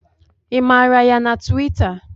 I mara ya na tuwita?